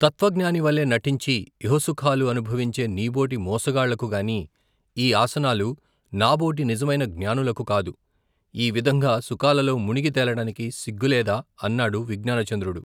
తత్వజ్ఞానివలే నటించి ఇహసుఖాలు అనుభవించే నీబోటి మోసగాళ్లకుగాని, ఈ ఆసనాలు నాబోటి నిజమైన జ్ఞానులకు కాదు ! ఈ విధంగా సుఖాలలో ముణిగి తేలడానికి సిగ్గులేదా ? అన్నాడు విజ్ఞానచంద్రుడు.